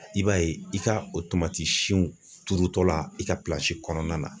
I b'a ye i ka o tomati sinw turutɔ la i ka kɔnɔna na.